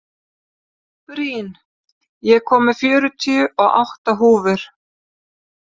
Rín, ég kom með fjörutíu og átta húfur!